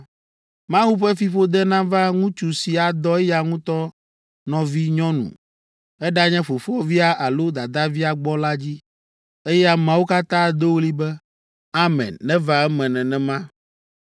“Mawu ƒe fiƒode nava ŋutsu si adɔ eya ŋutɔ nɔvinyɔnu, eɖanye fofovia alo dadavia gbɔ la dzi.” Eye ameawo katã ado ɣli be, “Amen; neva eme nenema!”